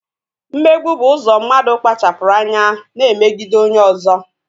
Mmegbu bụ ụzọ mmadụ kpachapụrụ anya na-emegide onye ọzọ